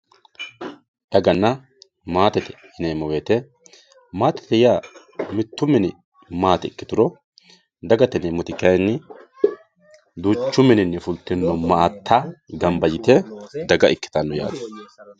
daganna maatete yineemmo woyte maatete yaa mittu mini maate ikkituro dagate yineemmo woyte kayni mittu mininni fultino maatta gamba yite daga ikkitino yaate